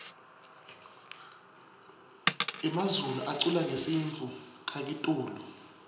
emazulu aculangesintfu kakitulu